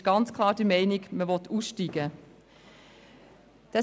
Man ist ganz klar der Meinung, dass man aussteigen will.